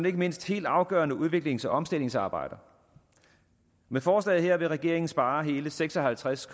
ikke mindst helt afgørende udviklings og omstillingsarbejder med forslaget her vil regeringen spare hele seks og halvtreds